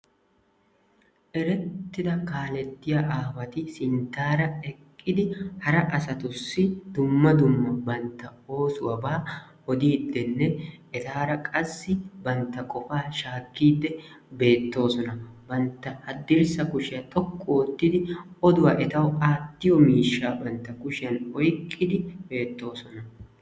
Erettida kaaletiya aawati sinttaara eqqidi hara asatussi dumma dumm a bantta oosuwaba odidenne etaara qassi bantta qopa shaakide beettoosona. Bantta haddirssa kushiya xoqqu oottidi oduwa etaw aattiyo miishsha bantta kushiyan oyqqidi beettoosona.